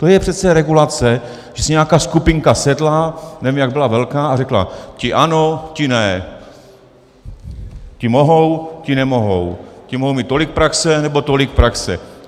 To je přece regulace, že si nějaká skupinka sedla, nevím, jak byla velká, a řekla: ti ano, ti ne, ti mohou, ti nemohou, ti mohou mít tolik praxe, nebo tolik praxe.